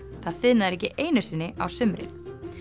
það þiðnar ekki einu sinni á sumrin